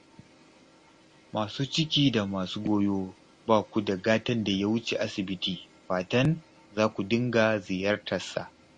Masu ciki da masu goyo ba ku da gatan da ya wuce asibiti, fatan za ku dinga ziyartarsa